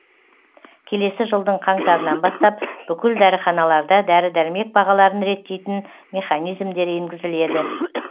келесі жылдың қаңтарынан бастап бүкіл дәріханаларда дәрі дәрмек бағаларын реттейтін механизмдер енгізіледі